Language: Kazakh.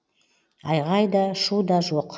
айғай да шу да жоқ